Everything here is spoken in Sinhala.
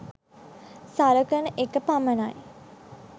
සලකන එක පමණයි